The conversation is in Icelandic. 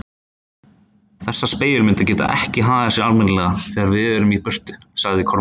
Þessar spegilmyndir geta ekki hagað sér almennilega þegar við erum í burtu, sagði Kormákur.